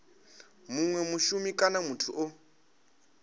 munwe mushumi kana muthu o